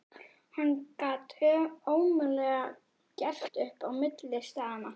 Hann gat ómögulega gert upp á milli staðanna.